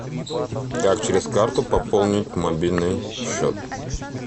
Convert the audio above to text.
как через карту пополнить мобильный счет